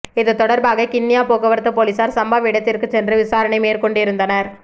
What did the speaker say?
இது தொடர்பாக கிண்ணியா போக்குவரத்து பொலிஸார் சம்பவ இடத்திற்கு சென்று விசாரணை மேற்கொண்டு இருந்தனர்